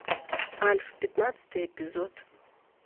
альф пятнадцатый эпизод